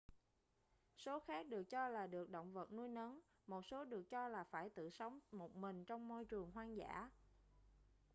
số khác được cho là được động vật nuôi nấng một số được cho là phải tự sống một mình trong môi trường hoang dã